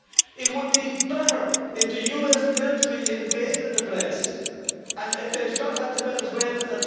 It would be better if the US military invaded the place and if they shot at the Venezuelans.